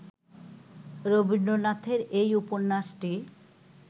রবীন্দ্রনাথের এই উপন্যাসটি